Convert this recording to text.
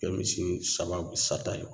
Kɛ misi sababu sata ye